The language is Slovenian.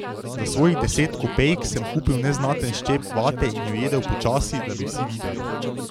Za svojih deset kopejk sem kupil neznaten ščep vate in jo jedel počasi, da bi vsi videli.